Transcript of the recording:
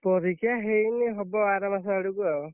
ପରୀକ୍ଷା ହେଇନି ହବ ଆର ମାସ ଆଡକୁ ଆଉ।